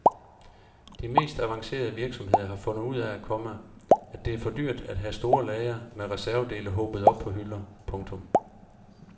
De mest avancerede virksomheder har fundet ud af, komma at det er for dyrt at have store lagre med reservedele hobet op på hylder. punktum